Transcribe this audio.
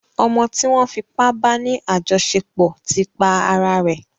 Ọmọ tí wọ́n fipá ba ní àjọṣepọ̀ ti pa ara rẹ̀.